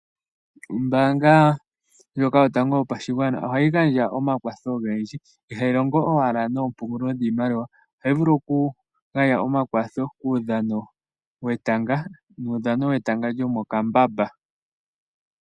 Ombaanga ndjoka yotango yopashigwana ohayi gandja omakwatho ogendji, ihayi longo owala noompungulilo dhiimaliwa ohayi vulu oku gandja omakwatho kuudhano wetanga, muudhano wetanga lyomokambamba.